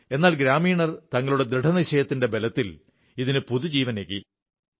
എന്നാൽ ഗ്രാമീണർ തങ്ങളുടെ ദൃഢനിശ്ചയത്തിന്റെ ബലത്തിൽ ഇതിന് പുതുജീവനേകി